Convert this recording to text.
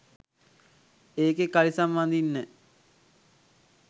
ඒකෙ කලිසම් අඳින්න